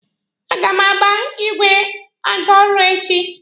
A ga m agba igwe aga ọrụ echi.